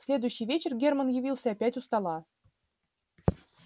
в следующий вечер германн явился опять у стола